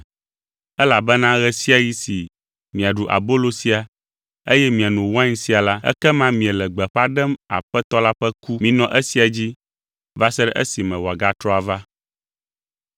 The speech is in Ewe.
Elabena ɣe sia ɣi si miaɖu abolo sia eye miano wain sia la, ekema miele gbeƒã ɖem Aƒetɔ la ƒe ku. Minɔ esia dzi va se ɖe esime wòagatrɔ ava.